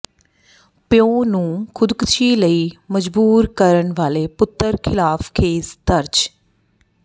ਪਿਓ ਨੂੰ ਖੁਦਕੁਸ਼ੀ ਲਈ ਮਜਬੂਰ ਕਰਨ ਵਾਲੇ ਪੁੱਤਰ ਖਿਲਾਫ਼ ਕੇਸ ਦਰਜ